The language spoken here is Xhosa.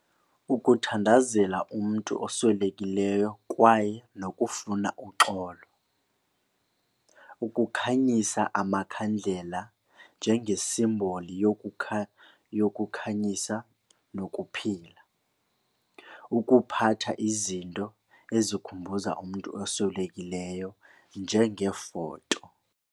Ukuthandazela umntu oswelekileyo kwaye nokufuna uxolo. Ukukhanyisa amakhandlela njengesimboli yokukhanyisa nokuphila. Ukuphatha izinto ezikhumbuza umntu oswelekileyo njengeefoto.